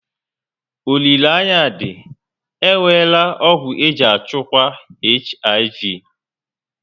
Olileanya dị, e nweela ọgwụ eji echukwa HIV